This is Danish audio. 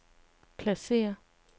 pladsér